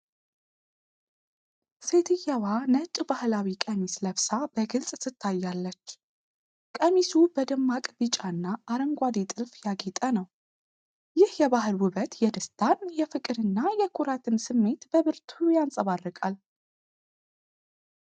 ሴትየዋ ነጭ ባህላዊ ቀሚስ ለብሳ በግልጽ ትታያለች፤ ቀሚሱ በደማቅ ቢጫና አረንጓዴ ጥልፍ ያጌጠ ነው። ይህ የባህል ውበት የደስታን፣ የፍቅርንና የኩራትን ስሜት በብርቱ ያንጸባርቃል።